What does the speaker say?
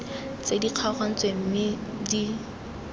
tse di kgaogantsweng mme di